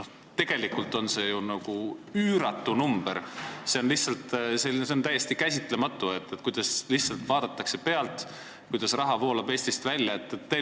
Tegelikult on see ju üüratu summa ja on täiesti käsitamatu, et lihtsalt vaadatakse pealt, kuidas raha voolab Eestist välja.